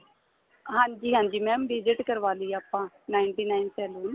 ਹਾਂਜੀ ਹਾਂਜੀ mam visit ਕਰਵਾ ਲਈ ਆਪਾਂ ninety nine cell ਦੀ